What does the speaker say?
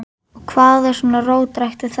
Og hvað er svona róttækt við þetta?